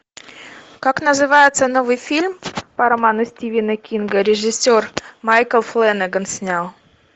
как называется новый фильм по роману стивена кинга режиссер майкл флэнэгар снял